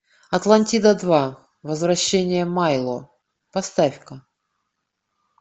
атлантида два возвращение майло поставь ка